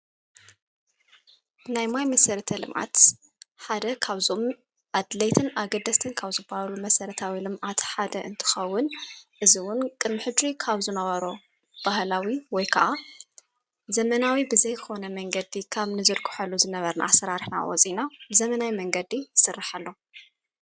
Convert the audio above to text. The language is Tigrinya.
ናይ ማይ መሠረተ ልምዓት ሓደ ኻብዞም ኣድለይትን ኣገደስትን ካብዝባሉ መሠረታዊ ልም ዓቲ ሓደ እንትኸውን እዝዉን ቅምሕድ ካውዝነዋሮ ባሃላዊ ወይ ከዓ ዘመናዊ ብዘይክኾነ መንገዲ ካም ንዘድኩሐሉ ዝነበርን ኣሠራርሕና ወፂእና ብዘመናዊ መንገዲ ሥርሕ ኣሎ::